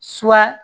Suwa